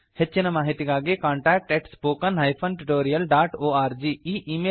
ಹೆಚ್ಚಿನ ಮಾಹಿತಿಗಾಗಿ contact spoken tutorialorg ಈ ಈ ಮೇಲ್ ಮೂಲಕ ಸಂಪರ್ಕಿಸಿ